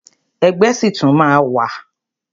Ẹgbẹ́ ṣì tún máa ma wà.